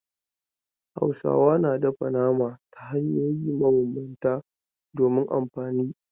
Hausawa na dafa nama ta hanyoyi mabambanta domin amfani.